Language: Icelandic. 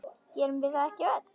Gerum við það ekki öll?